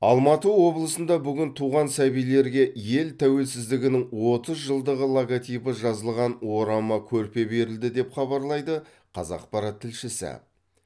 алматы облысында бүгін туған сәбилерге ел тәуелсіздігінің отыз жылдығы логотипі жазылған орама көрпе берілді деп хабарлайды қазақпарат тілшісі